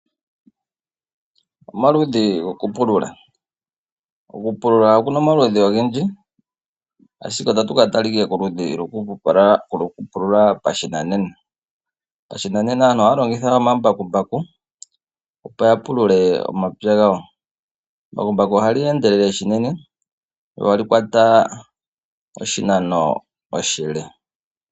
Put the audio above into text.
Okupulula oku na omaludhi ogendji, ashike ota tu ka tala koludhi lwokupulula pashinanena. Pashinanena aantu ohaya longitha omambakumbaku opo ya pulule omapya gawo. Embakumbaku oha li endelele unene, lyo oha li kwata oshinano oshile.